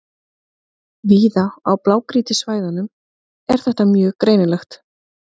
Víða á blágrýtissvæðunum er þetta mjög greinilegt.